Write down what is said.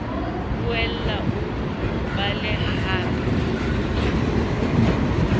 boela o o bale hape